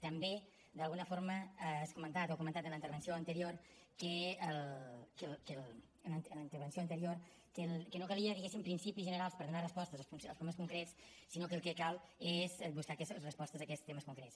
també d’alguna forma has comentat o ha comentat en la intervenció anterior que no calia diguéssim principis generals per donar respostes als problemes concrets sinó que el que cal és buscar respostes a aquests temes concrets